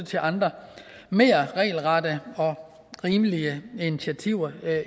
til andre mere regelrette og rimelige initiativer